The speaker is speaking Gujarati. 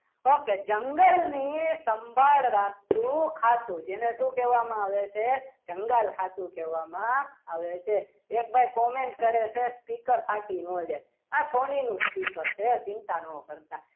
okay જંગલની સંભાળ રાખતું ખાતું જેને શું કહેવાય મા આવે છે જંગલ ખાતું કહેવામાં આવે છે એક ભાઈ comment કરે છે speaker ફાટી ન જાય આ સોની નું speaker છે ચિંતા ન કરતા